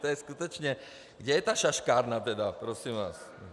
To je skutečně - kde je ta šaškárna tedy, prosím vás?